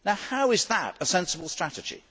How is that a sensible strategy?